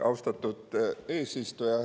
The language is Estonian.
Austatud eesistuja!